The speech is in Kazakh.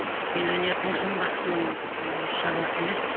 мен өнердің жын бақсының ы шаруасы емес